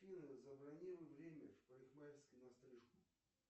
афина забронируй время в парикмахерской на стрижку